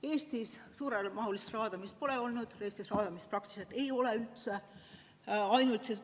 Eestis suuremahulist raadamist pole olnud, raadamist meil praktiliselt üldse ei ole.